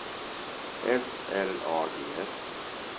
S L A G S